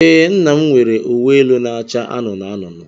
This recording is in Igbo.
Ee, nna'm nwere uwe elu na-acha anụnụ anụnụ.